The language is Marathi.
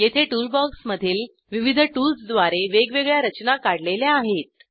येथे टूलबॉक्समधील विविध टूल्सद्वारे वेगवेगळ्या रचना काढलेल्या आहेत